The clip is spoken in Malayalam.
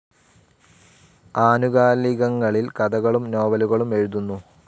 ആനുകാലികങ്ങളിൽ കഥകളും നോവലുകളും എഴുതുന്നു.